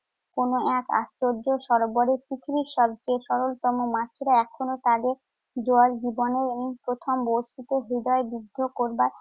কোন এক আশ্চর্য সরোবরে পৃথিবীর সব থেকে সরলতম মাছেরা এখনও তাদের জোয়ার জীবনের এই প্রথম বড়শিতে বিদ্ধ যুদ্ধ করবার